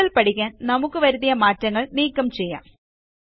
കൂടുതൽ പഠിക്കാൻ നമുക്ക് വരുത്തിയ മാറ്റങ്ങൾ നീക്കം ചെയ്യാം